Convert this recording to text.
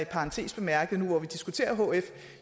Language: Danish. parentes bemærket nu hvor vi diskuterer hf